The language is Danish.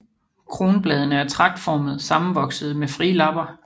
Kronbladene er tragtformet sammenvoksede med frie lapper